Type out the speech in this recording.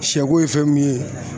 Sɛko ye fɛn min ye